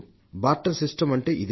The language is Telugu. బార్టర్ సిస్టమ్ అంటే ఇదే